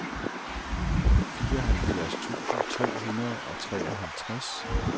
fireoghalvfjerds tusind tre hundrede og treoghalvtreds